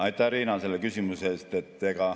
Aitäh, Riina, selle küsimuse eest!